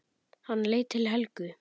Hann leit til Helgu.